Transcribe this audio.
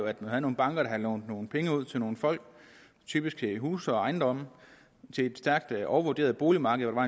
at man havde nogle banker der havde lånt nogle penge ud til nogle folk typisk til huse og ejendomme på et stærkt overvurderet boligmarked hvor